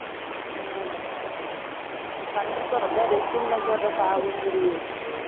ம்ம் பண்ணிக்கோ அதுதான் resume ல போடுறதுக்கு ஆகும்ங்கிறியே